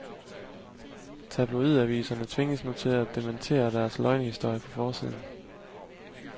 Tabloidaviserne tvinges nu til at dementere deres løgnehistorier på forsiden.